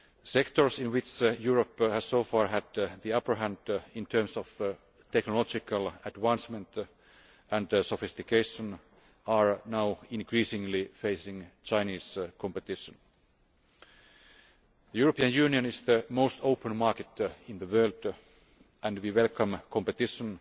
Sectors in which Europe has so far had the upper hand in terms of technological advancement and sophistication are now increasingly facing Chinese competition. The European Union is the most open market in the world and we welcome competition